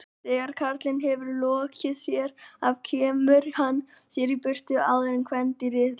Þegar karlinn hefur lokið sér af kemur hann sér í burtu áður en kvendýrið losnar.